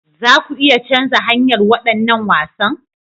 Za ku iya canza hanyar waɗannan wasan?